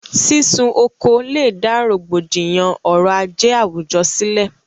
sísun oko lèdá rògbòdìyàn ọrọ̀-ajé àwùjọ sílẹ̀.